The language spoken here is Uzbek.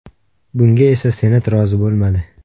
Bunga esa Senat rozi bo‘lmadi.